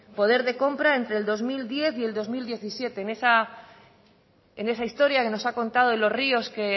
poder de compra entre el dos mil diez y el dos mil diecisiete en esa historia que nos ha contado de los ríos que